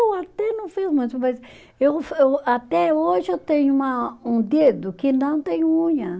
Eu até não fiz muito, mas eu eu, até hoje eu tenho uma, um dedo que não tem unha.